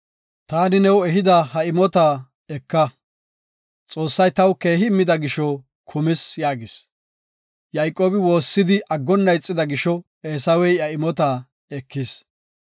Taani new ehida ha imota eka. Xoossay taw keehi immida gisho kumis” yaagis. Yayqoobi woossidi aggonna ixida gisho, Eesawey iya imota ekis.